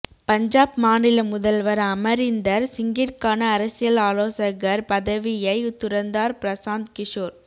பஞ்சாப் மாநில முதல்வர் அமரிந்தர் சிங்கிற்கான அரசியல் ஆலோசகர் பதவியை துறந்தார் பிரசாந்த் கிஷோர்